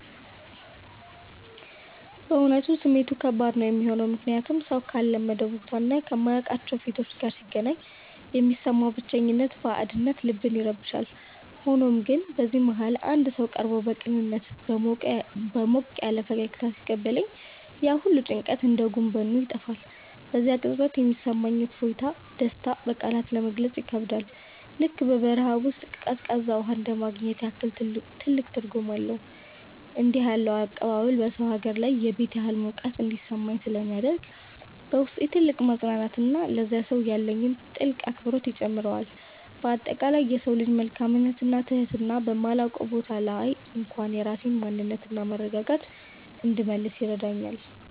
በእውነቱ ስሜቱ ከባድ ነው የሚሆነው፤ ምክንያቱም ሰው ካልለመደው ቦታና ከማያውቃቸው ፊቶች ጋር ሲገናኝ የሚሰማው ብቸኝነትና ባዕድነት ልብን ይረብሻል። ሆኖም ግን በዚህ መሃል አንድ ሰው ቀርቦ በቅንነትና በሞቅ ያለ ፈገግታ ሲቀበለኝ፣ ያ ሁሉ ጭንቀት እንደ ጉም በኖ ይጠፋል። በዚያ ቅጽበት የሚሰማኝ እፎይታና ደስታ በቃላት ለመግለጽ ይከብዳል፤ ልክ በበረሃ ውስጥ ቀዝቃዛ ውሃ እንደማግኘት ያህል ትልቅ ትርጉም አለው። እንዲህ ያለው አቀባበል በሰው ሀገር ላይ የቤት ያህል ሙቀት እንዲሰማኝ ስለሚያደርግ፣ በውስጤ ትልቅ መፅናናትንና ለዚያ ሰው ያለኝን ጥልቅ አክብሮት ይጨምረዋል። በአጠቃላይ የሰው ልጅ መልካምነትና ትህትና በማላውቀው ቦታ ላይ እንኳን የራሴን ማንነትና መረጋጋት እንድመልስ ይረዳኛል።